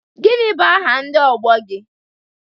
Gịnị bụ aha ndị ọgbọ gị?